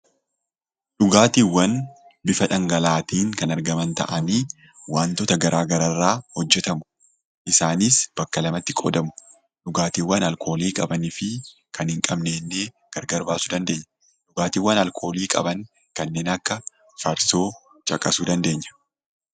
Dhugaatiiwwan bifa dhangala'aatiin kan argaman ta'anii, waantota garaa garaa irraa hojjetamu. Isaanis bakka lamatti qoodamu: dhugaatiiwwan alkoolii qabanii fi kan hin qabne jennee gargar baasuu ni dandeenya. Dhugaatiiwwan alkoolii qaban kanneen akka farsoo caqasuu dandeenya.